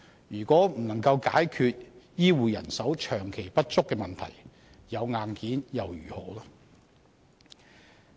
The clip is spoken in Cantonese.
如果不能解決醫護人手長期不足的問題，有硬件又如何？